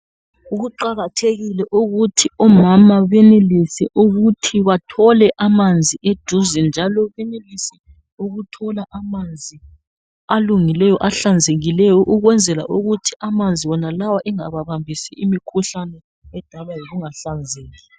Kuqakathekile ukuthi omama benelise ukuthi bathole amanzi eduze. Njalo benelise ukuthola amanzi alungileyo ,ahlanzekileyo. Ukwenzela ukuthi amanzi wonalawa engababambisi imikhuhlane edalwa yikungahlanzeki.